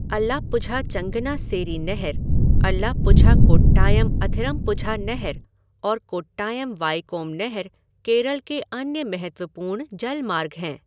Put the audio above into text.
अलाप्पुझा चंगनास्सेरी नहर, अलाप्पुझा कोट्टायम अथिरम्पुझा नहर और कोट्टायम वाइकोम नहर केरल के अन्य महत्वपूर्ण जलमार्ग हैं।